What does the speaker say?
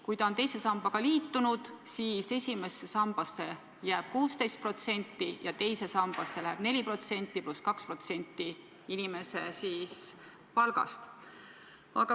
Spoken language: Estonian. Kui ta on teise sambaga liitunud, siis esimesse sambasse jääb 16% ja teise sambasse läheb 4% pluss 2% inimese palgast.